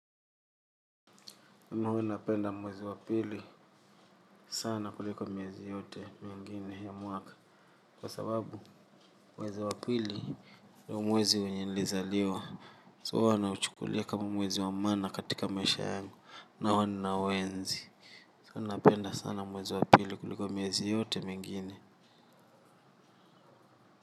Mimi huwa napenda mwezi wa pili sana kuliko miezi yote mingine ya mwaka. Kwa sababu, mwezi wa pili ndo mwezi wenye nilizaliwa. So huwa nauchukulia kama mwezi wa maana katika maisha yangu. Na huwa ninauenzi. So huwa napenda sana mwezi wa pili kuliko miezi yote mingine.